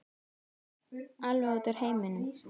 Alveg út úr heiminum.